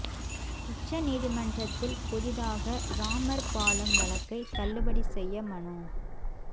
உச்ச நீதிமன்றத்தில் புதிதாக ராமர் பாலம் வழக்கை தள்ளுபடி செய்ய மனு